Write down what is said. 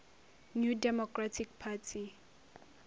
new democratic party